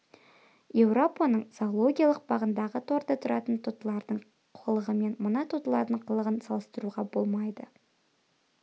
еуропаның зоологиялық бағындағы торда тұратын тотылардың қылығымен мына тотылардың қылығын салыстыруға болмайды